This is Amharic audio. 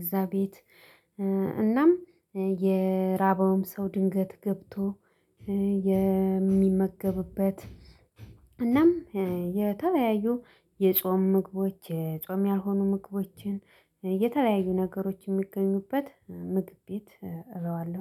እዛ ቤት። እናም የራበውም ሰው ድንገት ገብቶ የሚመገብበት። እናም የተለያዩ የጾም ምግቦች የጾም ያልሆኑ ምግቦችን የተለያዩ ነገሮች የሚገኙበት ምግብ ቤት እለዋለሁ